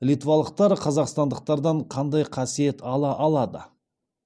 литвалықтар қазақстандықтардан қандай қасиет ала алады